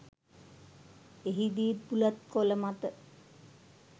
එහිදීත් බුලත් කොළ මත